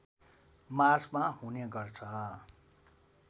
मार्चमा हुने गर्छ